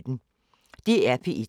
DR P1